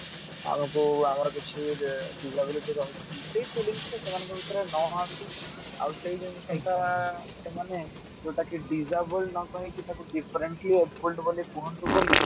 ଆଉ ଆମର କିଛି disability ରହୁଛି ବୋଲି ସେଇ feelings ଟା ସେମାନଙ୍କ ଭିତରେ ନ ଆସୁ ଆଉ ସେଇ ଜିନିଷ ଟା ସେମାନେ ଯୋଉଟା କି disable ନ କହିକି ତାକୁ differently abled ବୋଲି କୁହନ୍ତୁ ବୋଲି